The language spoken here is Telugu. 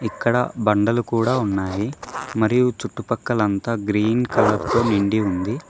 ఇక్కడ బండలు కూడా ఉన్నాయి మరియు చుట్టుపక్కలంతా గ్రీన్ కలర్ తో నిండి ఉంది.